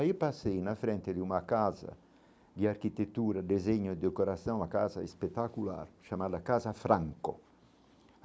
Aí passei na frente de uma casa de arquitetura, desenho e decoração, uma casa espetacular, chamada Casa Franco.